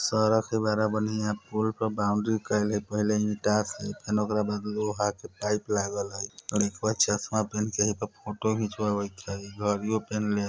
सरक है बड़ा बन्हियां पुल पर बाउंड्री कईल हय पहले ही ईंटा से फेन ओकरा बाद लोहा के पाइप लागल हई लइकवा चश्मा पेहेन के इहे पे फोटो घिंचवावइत हेय घड़ियों पेहेनले --